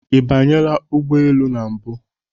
Ị banyela ụgbọ elu na mbụ?